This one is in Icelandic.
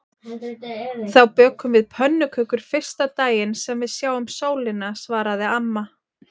Þá bökum við pönnukökur fyrsta daginn sem við sjáum sólina svaraði amma.